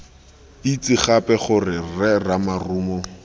itse gape gore rre ramarumo